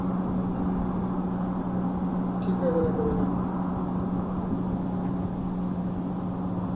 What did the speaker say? ঠিক আছে রাখো তাহলে